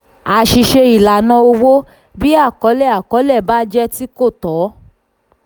àṣìṣe ìlànà owó: bí àkọlé àkọlé bá jẹ ti kò tọ́.